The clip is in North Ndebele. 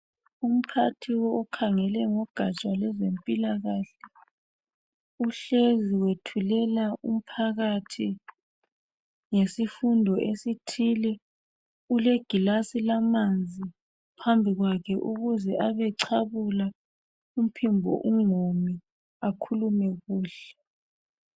Umphathi okhangele ngogatsha ngezempilakahle uhlezi wethulela umphakathi ngesifundo esithile, kulegilasi lamanzi phambi kwakhe ukuze abecabula umphimbo ungomi akhulume kuhle.